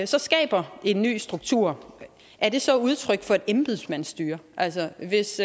så skaber en ny struktur er det så udtryk for et embedsmandsstyre altså hvis